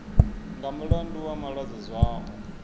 nga mulandu wa malwadze zwao